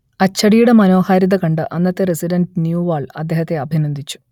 അച്ചടിയുടെ മനോഹാരിത കണ്ട് അന്നത്തെ റസിഡന്റ് ന്യൂവാൾ അദ്ദേഹത്തെ അഭിനന്ദിച്ചു